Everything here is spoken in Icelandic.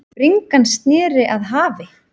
Bringan sneri að hafi.